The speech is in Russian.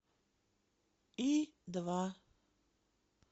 и два